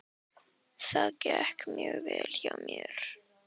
Það gekk mjög vel hjá mér.